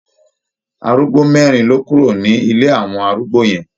Arúgbó mẹ́rin ló kúrò ní ilé àwọn arúgbó yẹn.